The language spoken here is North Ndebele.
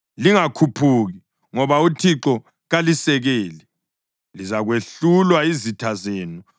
Lingakhuphuki, ngoba uThixo kalisekeli. Lizakwehlulwa yizitha zenu,